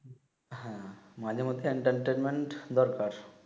হ্যাঁ মাঝে মধ্যে এন্টারটেন্টম্যান্ট দরকার